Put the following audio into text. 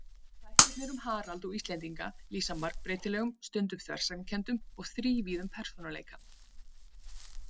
Þættirnir um Harald og Íslendinga lýsa margbreytilegum, stundum þversagnakenndum og þrívíðum persónuleika.